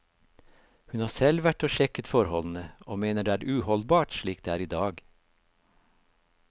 Hun har selv vært og sjekket forholdene, og mener det er uholdbart slik det er i dag.